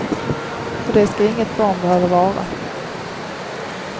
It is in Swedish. Och det ska inget barn behöva vara.